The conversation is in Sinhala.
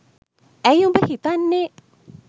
ඇ‍යි උඹ හිතන්නේ